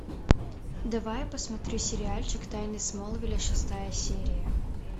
давай я посмотрю сериальчик тайны смолвиля шестая серия